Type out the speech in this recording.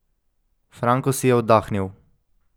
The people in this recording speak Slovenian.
Franko si je oddahnil.